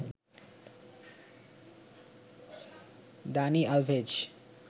Dani Alves